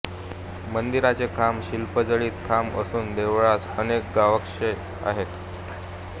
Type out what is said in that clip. मंदिराचे खांब शिल्पजडित खांब असून देवळास अनेक गवाक्षे आहेत